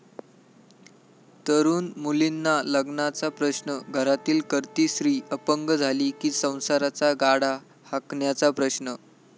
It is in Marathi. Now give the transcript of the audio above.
तरुण मुलींना लग्नाचा प्रश्न, घरातील करती स्त्री अपंग झाली कि संसाराचा गाडा हाकण्याचा प्रश्न...